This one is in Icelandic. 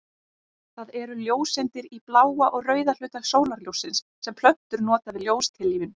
Það eru ljóseindir í bláa og rauða hluta sólarljóssins sem plöntur nota við ljóstillífun.